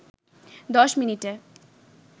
১০ মিনিটে